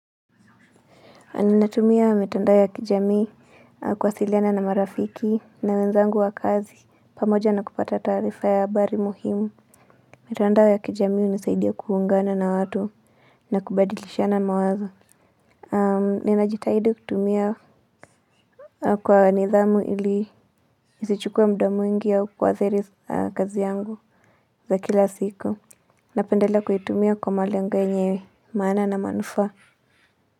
Aninatumia wa mitandao ya kijamii kuwasiliana na marafiki na wenzangu wa kazi pamoja na kupata taarifa ya abari muhimu. Mitandao ya kijamii unisaidia kuungana na watu na kubadilishana mawazo. Ahm ninajitahidi kutumia kwa nidhamu ili isichukue muda mwingi au kuathiri kazi yangu. Za kila siku napendelea kuhitumia kwa malengo yenye maana na manufaa.